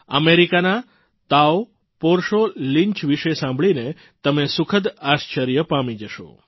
અમેરિકાના તાઓ પોર્ચોનલિન્ચ વિશે સાંભળીને તમે સુખદ આશ્ચર્ય પામી જશો